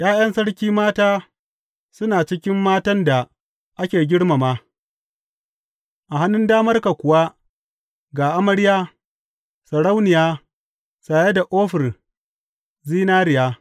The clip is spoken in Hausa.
’Ya’yan sarki mata suna cikin matan da ake girmama; a hannun damarka kuwa ga amarya, sarauniya saye da ofir zinariya.